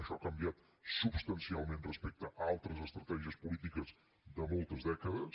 això ha canviat substancialment respecte a altres estratègies polítiques de moltes dècades